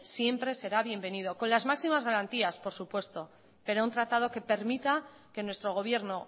siempre será bienvenido con las máxima garantías por supuesto pero un tratado que permita que nuestro gobierno